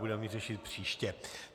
Budeme ji řešit příště.